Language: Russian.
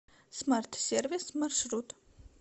смарт сервис маршрут